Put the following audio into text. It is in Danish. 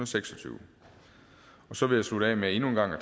seks og tyve så vil jeg slutte af med endnu en gang at